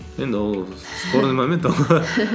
енді ол спорный момент ол